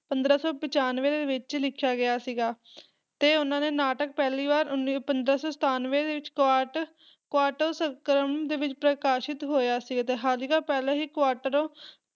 ਪੰਦਰਾਂ ਸੋ ਪਚਾਨਵੇਂ ਦੇ ਵਿੱਚ ਲਿਖਿਆ ਗਿਆ ਸੀਗਾ, ਤੇ ਉਹਨਾਂ ਨੇ ਨਾਟਕ ਪਹਿਲੀ ਵਾਰ ਉੱਨੀ ਪੰਦਰਾਂ ਸੌ ਸਤਾਨਵੇਂ ਦੇ ਵਿੱਚ ਇੱਕ ਕੁਆਰਟ ਕੁਆਟਰ ਸੰਸਕਰਣ ਦੇ ਵਿੱਚ ਪ੍ਰਕਾਸ਼ਿਤ ਕੀਤਾ ਹੋਇਆ ਸੀ ਤੇ ਹਾਲਾਂਕਿ, ਪਹਿਲਾਂ ਹੀ ਕੁਆਟਰ